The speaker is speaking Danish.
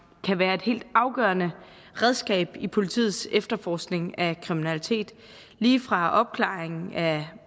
kan være et helt afgørende redskab i politiets efterforskning af kriminalitet lige fra opklaring af